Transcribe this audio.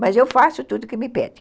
Mas eu faço tudo que me pedem.